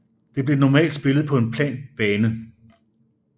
Det blev normalt spillet på en plan bane